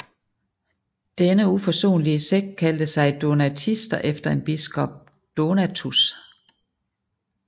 Denne uforsonlige sekt kaldte sig donatister efter en biskop Donatus